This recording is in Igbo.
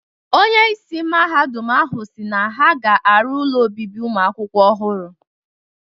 Onyeisi Mahadum ahụ si na ha ga-arụ ụlọ obibi ụmụakwụkwọ ọhụrụ.